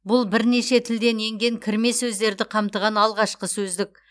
бұл бірнеше тілден енген кірме сөздерді қамтыған алғашқы сөздік